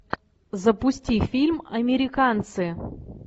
запусти фильм американцы